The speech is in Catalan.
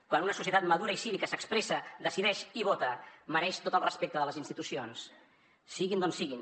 quan una societat madura i cívica s’expressa decideix i vota mereix tot el respecte de les institucions siguin d’on siguin